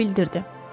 Co bildirdi.